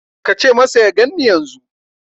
Ka ce masa ya ganni yanzu.